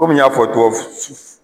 Kɔmi n y'a fɔ